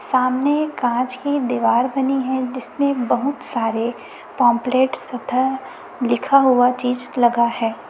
सामने कांच की दीवार बनी है जिसमे बहुत सारे पंपलेट्स तथा लिखा हुआ चीज लगा है।